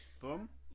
Bum